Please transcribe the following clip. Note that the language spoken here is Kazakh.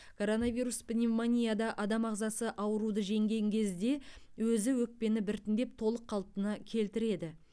коронавирус пневмонияда адам ағзасы ауруды жеңген кезде өзі өкпені біртіндеп толық қалпына келтіреді